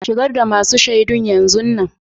Shigar da masun shaidun yanzun nan.